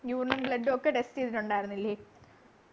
urine ഉം blood ഉം ഒക്കെ test ചെയ്തിട്ടുണ്ടായിരുന്നില്ലേ